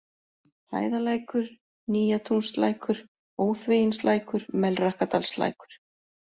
Hæðalækur, Nýjatúnslækur, Óþveginslækur, Melrakkadalslækur